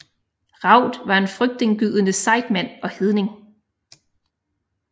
Raud var en frygtindgydende sejdmand og hedning